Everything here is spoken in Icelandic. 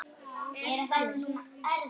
Er það nú víst ?